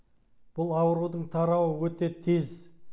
бұл аурудың тарауы өте тез